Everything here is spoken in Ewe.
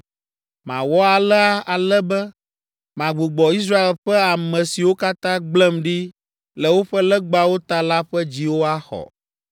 Mawɔ alea ale be magbugbɔ Israel ƒe ame siwo katã gblẽm ɖi le woƒe legbawo ta la ƒe dziwo axɔ.’